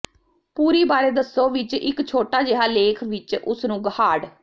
ਪੂਰੀ ਬਾਰੇ ਦੱਸੋ ਵਿਚ ਇਕ ਛੋਟਾ ਜਿਹਾ ਲੇਖ ਵਿਚ ਉਸ ਨੂੰ ਹਾਰਡ